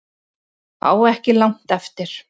Á ekki langt eftir